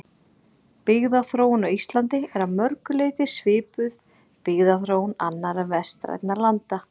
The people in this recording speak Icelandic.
Byggðaþróun á Íslandi er að mörgu leyti svipuð byggðaþróun annarra vestrænna landa.